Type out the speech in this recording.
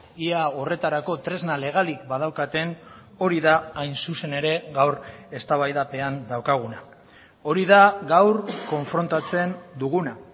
ia horretarako tresna legalik badaukaten hori da hain zuzen ere gaur eztabaidapean daukaguna hori da gaur konfrontatzen duguna